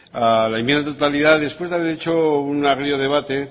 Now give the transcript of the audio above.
a la enmienda de totalidad después de haber hecho un agrio debate